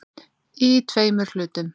Í tveimur hlutum.